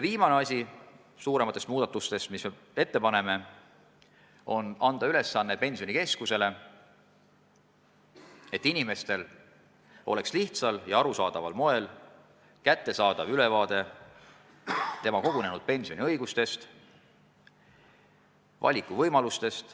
Viimane suurem muudatus, mille me ette paneme, on anda Pensionikeskusele ülesanne, et inimesel oleks lihtsal ja arusaadaval moel kättesaadav ülevaade tema kogunenud pensioniga seotud õigustest ja valikuvõimalustest.